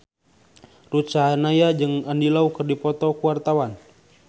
Ruth Sahanaya jeung Andy Lau keur dipoto ku wartawan